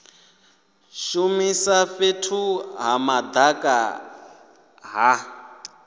shumisa fhethu ha madaka ha